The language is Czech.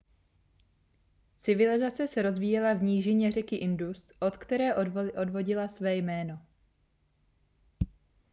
civilizace se rozvíjela v nížině řeky indus od které odvodila své jméno